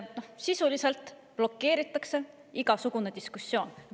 Sisuliselt blokeeritakse igasugune diskussioon.